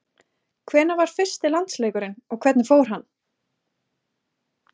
Hvenær var fyrsti landsleikurinn og hvernig fór hann?